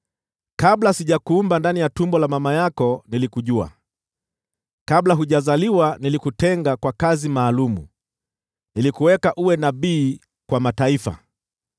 “Kabla sijakuumba ndani ya tumbo la mama yako, nilikujua; kabla hujazaliwa nilikutenga kwa kazi maalum; nilikuweka uwe nabii kwa mataifa.”